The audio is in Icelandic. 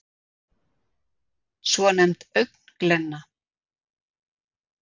svonefnd augnglenna